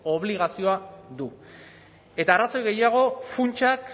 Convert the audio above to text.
obligazioa du eta arrazoi gehiago funtsak